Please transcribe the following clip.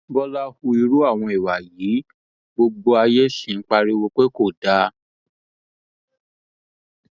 bọlá hu irú àwọn ìwà yìí gbogbo ayé sì ń pariwo pé kò dáa